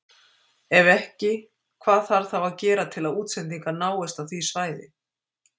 Ef ekki hvað þarf þá að gera til að útsendingar náist á því svæði?